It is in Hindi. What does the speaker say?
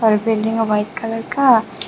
यह बिल्डिंग है वाइट कलर का।